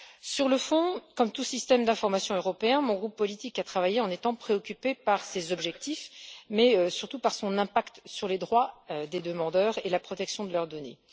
Sur le fond, comme tout système d'information européen, mon groupe politique a travaillé en étant préoccupé par ces objectifs, mais surtout par son impact sur les droits des demandeurs et la protection de leurs données.